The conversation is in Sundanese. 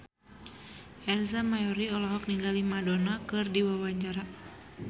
Ersa Mayori olohok ningali Madonna keur diwawancara